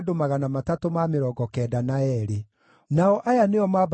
Andũ acio othe marĩ hamwe maarĩ 42,360,